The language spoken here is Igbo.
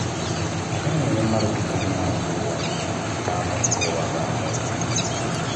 A gaghị enwe mmadụ dị ka nna nke ụwa ga-amụ nke ụwa ga-amụ ya.